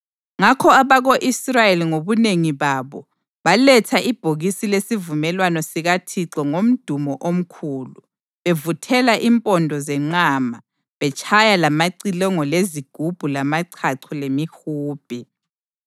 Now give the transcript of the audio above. Ngakho abako-Israyeli ngobunengi babo baletha ibhokisi lesivumelwano sikaThixo ngomdumo omkhulu, bevuthela impondo zenqama betshaya lamacilongo, lezigubhu lamachacho lemihubhe.